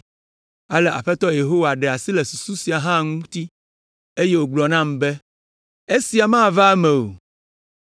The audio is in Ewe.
Ale Aƒetɔ Yehowa ɖe asi le susu sia hã ŋuti, Eye wògblɔ nam be, “Esia mava eme o.”